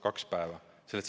Kaks päeva!